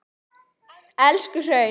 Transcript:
Elstu hraun